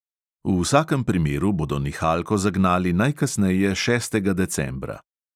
V vsakem primeru bodo nihalko zagnali najkasneje šestega decembra.